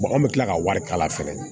an bɛ tila ka wari kala fɛnɛ